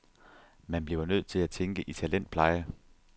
Man bliver nødt til at tænke i talentpleje.